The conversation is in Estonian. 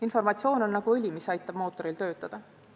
Informatsioon on nagu õli, mis aitab mootoril töötada.